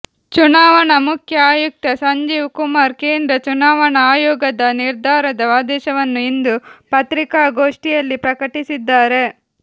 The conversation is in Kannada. ಚುನಾವಣಾ ಮುಖ್ಯ ಆಯುಕ್ತ ಸಂಜೀವ್ ಕುಮಾರ್ ಕೇಂದ್ರ ಚುನಾವಣಾ ಆಯೋಗದ ನಿರ್ಧಾರದ ಆದೇಶವನ್ನು ಇಂದು ಪತ್ರಿಕಾಘೋಷ್ಠಿಯಲ್ಲಿ ಪ್ರಕಟಿಸಿದ್ದಾರೆ